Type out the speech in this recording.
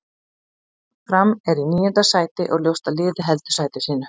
Fram er í níunda sæti og ljóst að liðið heldur sæti sínu.